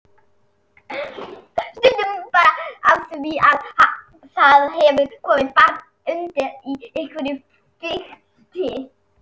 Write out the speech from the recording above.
Stundum bara af því að það hefur komið barn undir í einhverju fikti.